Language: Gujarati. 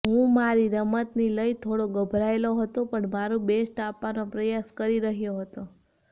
હું મારી રમતની લઈ થોડો ગભરાયેલો હતો પણ મારૂ બેસ્ટ આપવાનો પ્રયાસ કરી રહ્યો હતો